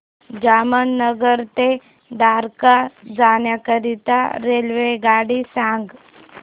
जामनगर ते द्वारका जाण्याकरीता रेल्वेगाडी सांग